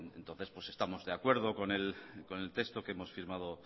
pues entonces estamos de acuerdo con el texto que hemos firmado